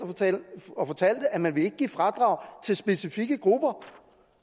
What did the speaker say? og fortalte at man ikke vil give fradrag til specifikke grupper